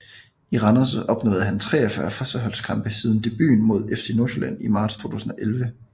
I Randers opnåede han 43 førsteholdskampe siden debuten mod FC Nordsjælland i marts 2011